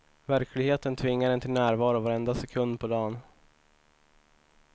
Verkligheten tvingar en till närvaro varenda sekund på dagen.